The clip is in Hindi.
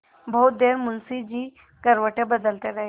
बहुत देर मुंशी जी करवटें बदलते रहे